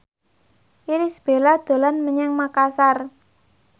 Irish Bella dolan menyang Makasar